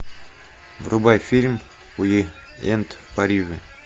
врубай фильм уик энд в париже